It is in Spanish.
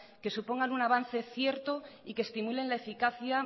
que supongan un avance cierto y que estimulen la eficacia